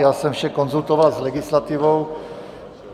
Já jsem vše konzultoval s legislativou.